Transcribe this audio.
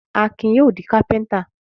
Akin yóò di kápẹ́ńtà.